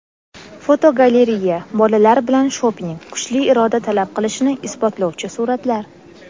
Fotogalereya: Bolalar bilan shoping — kuchli iroda talab qilishini isbotlovchi suratlar.